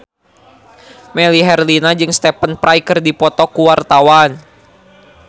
Melly Herlina jeung Stephen Fry keur dipoto ku wartawan